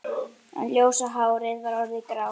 En ljósa hárið var orðið grátt.